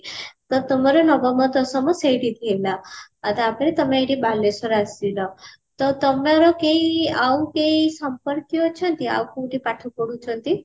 ତ ତମର ନବମ ଦଶମ ସେଇଠି ଥିଲା ଆଉ ତାପରେ ତମେ ଏଇଠି ବାଲେଶ୍ଵର ଆସିଲ ତ ତମର କେଇ ଆଉ କେଇ ସମ୍ପର୍କୀୟ ଅଛନ୍ତି ଆଉ କୋଉଠି ପାଠ ପଢୁଛନ୍ତି